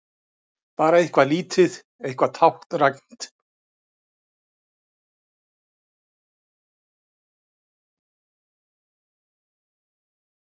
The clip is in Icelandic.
Bara eitthvað lítið, eitthvað táknrænt.